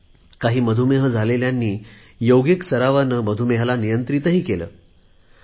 काही मधुमेह झालेल्यांनी योगिक सरावाने मधुमेहाला नियंत्रित केले आहे